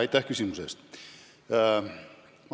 Aitäh küsimuse eest!